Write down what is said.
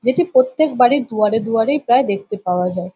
যেটি প্রত্যেক বাড়ির দুয়ারে দুয়ারেই প্রায় দেখতে পাওয়া যায় ।